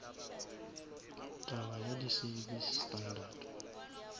taba ya di service standard